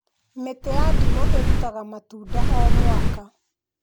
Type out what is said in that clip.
Mĩtĩ ya ndimũ ĩrutaga matunda o mwaka